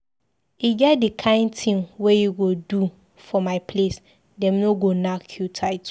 E get di kain tin wey you go do for my place, dem go nack you title.